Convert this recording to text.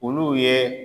Olu ye